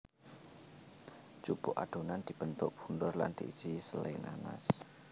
Jupuk adonan dibentuk bunder lan diisi sele nanas